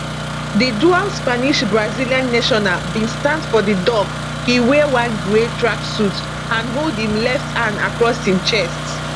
di dual spanishbrazilian national bin stand for di dock e wear one grey tracksuit and hold im left arm across im chest